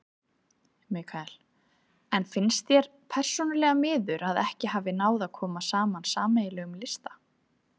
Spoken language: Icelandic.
Mikael: En finnst þér persónulega miður að ekki hafi náð að koma saman sameiginlegum lista?